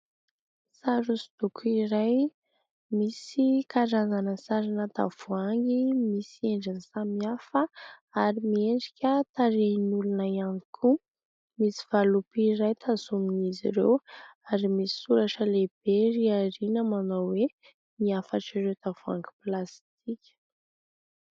Sary hosodoko iray, misy karazana sarina tavoahangy, misy endriny samy hafa ary miendrika tarehin'olona ihany koa. Misy valopy iray tazomin'izy ireo ary misy soratra lehibe ery aoriana manao hoe : "ny hafatr'ireo tavoahangy plastika".